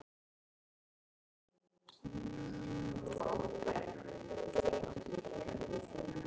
Vilt þú vinsamlegast láta þessa konu í friði!